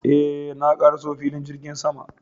Eh, na ƙaraso filin jirgin sama